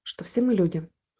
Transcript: что все мы люди